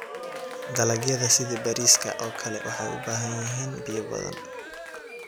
Dalagyada sida bariiska oo kale waxay u baahan yihiin biyo badan.